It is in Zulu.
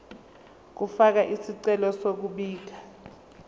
ukufaka isicelo sokubika